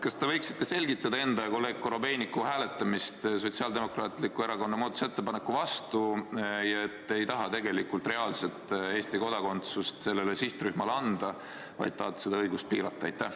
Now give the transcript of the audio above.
Kas te võiksite selgitada enda ja kolleeg Korobeiniku hääletamist Sotsiaaldemokraatliku Erakonna muudatusettepaneku vastu ja seda, et te ei taha reaalselt Eesti kodakondsust sellele sihtrühmale anda, vaid tahate seda õigust piirata?